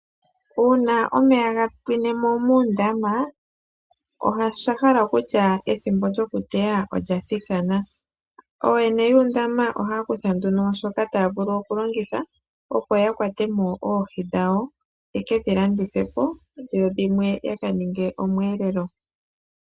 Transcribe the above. Uuna omeya ga pwine mo muundama osha hala okutya ethimbo lyokuteya olya thikana. Ooyene yuundama ohaya kutha nduno shoka taya vulu okulongitha, opo ya kwatemo oohi dhawo ye ke dhi landithe po dho dhimwe ya ka ninge omweelelo.